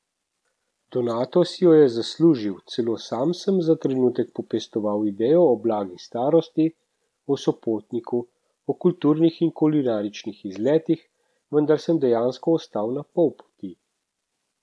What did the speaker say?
Donato si jo je zaslužil, celo sam sem za trenutek popestoval idejo o blagi starosti, o sopotniku, o kulturnih in kulinaričnih izletih, vendar sem dejansko ostal na pol poti.